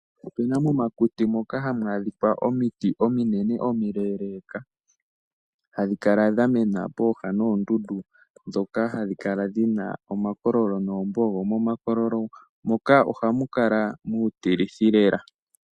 Opena momakuti moka hamu adhika omiti ominene omileeleka hadhi kala dhamena pooha noondundu dhoka hadhi kala dhina omakololo noombogo. Momakololo moka ohamu kala muutilithi lela.